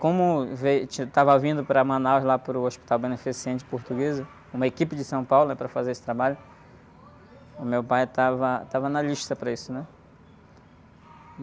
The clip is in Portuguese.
Como veio, estava vindo para Manaus, lá pelo Hospital Beneficente Portuguesa, uma equipe de São Paulo, né? Para fazer esse trabalho, o meu pai estava, estava na lista para isso, né?